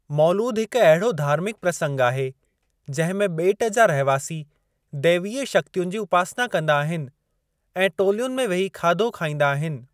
मौलूद हिक अहिड़ो धार्मिक प्रसंग आहे, जहिं में ॿेट जा रहिवासी दैवीय शक्तियुनि जी उपासना कंदा आहिनि ऐं टोलियुनि में वेही खाधो खाईंदा आहिनि।